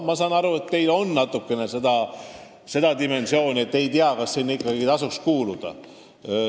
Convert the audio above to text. Ma saan aru, et teil on natuke kahtlusi, kas sinna ikka tasub kuuluda.